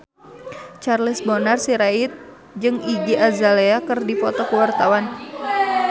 Charles Bonar Sirait jeung Iggy Azalea keur dipoto ku wartawan